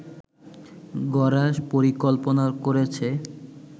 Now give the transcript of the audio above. গড়ার পরিকল্পনা করেছে